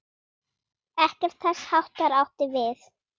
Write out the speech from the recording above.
Ekkert þess háttar átti við.